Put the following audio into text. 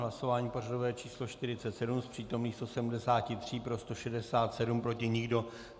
Hlasování pořadové číslo 47, z přítomných 173 pro 167, proti nikdo.